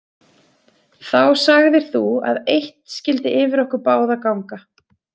Þá sagðir þú að eitt skyldi yfir okkur báða ganga.